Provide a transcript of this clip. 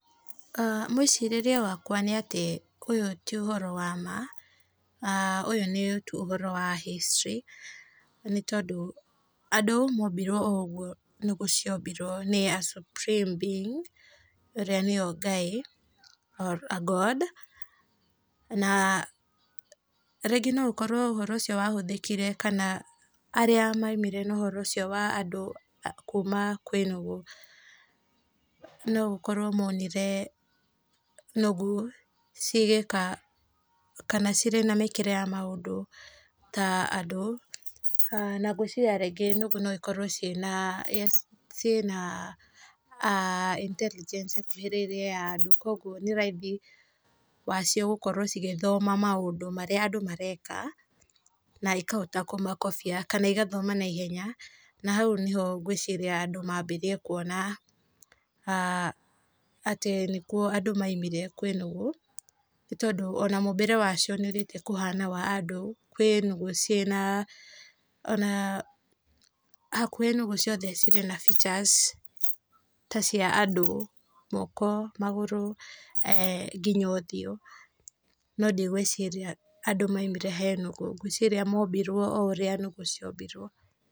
Mũicirĩrie wakwa nĩ atĩ ũyũ ti ũhoro wa ma ũyũ, ũyũ no ũhoro tu wa historĩ, nĩ tondũ andũ mombirwo o ũguo nũgũ ciombirwo nĩ a Supreme being ũrĩa nĩ we Ngai or a God na rĩngĩ no ũkorwo ũhoro ũcio wahũthĩkire kana arĩa moimire na ũhoro ũcio wa andũ kũma kwĩ nũgũ no akorwo monire nũgũ cigĩka kana cĩrĩ na mĩkĩre ya ta andũ na ngwĩciria rĩngĩ nũgũ no ĩkorwo ciĩna Intelligence ĩkuhĩrĩirie ya andũ, kwoguo nĩ raithi wacio gũkorwo igĩthoma maũndũ marĩa andũ mareka na ĩkahota kũmakobia kana ĩgathoma na ihenya na hau nĩ ho ngwĩciria andũ manjĩrĩirie kwona atĩ andũ nĩkuo maumire kwĩ nũgũ, nĩ tondũ ona mũmbĩre wacio nĩ ũthĩte kũhana wa andũ, kwĩ nũgũ ona, hakuhĩ nũgũ ciothe cirĩ na features ta cia andũ, moko, magũrũ nginya ũthiũ no ndigwĩciria andũ maumire he nũgũ, ngwĩciria mombirwo o ũrĩa nũgũ ciombirwo.